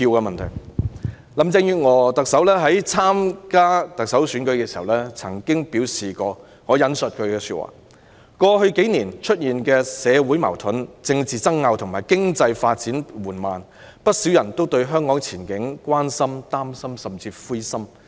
特首林鄭月娥在參加特首選舉時曾表示，："過去幾年出現的社會矛盾、政治爭拗和經濟發展緩慢，不少人都對香港前景關心、擔心甚至灰心。